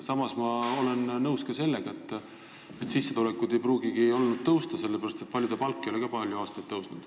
Samas ma olen nõus ka sellega, et sissetulekud ei pruugi olla tõusnud, sellepärast et paljude palk ei ole palju aastaid tõusnud.